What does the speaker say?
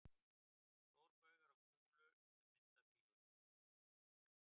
Stórbaugar á kúlu sem mynda þríhyrning.